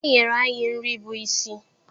e nyere anyị nri bụ́ isi.